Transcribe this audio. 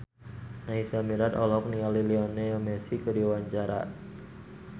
Naysila Mirdad olohok ningali Lionel Messi keur diwawancara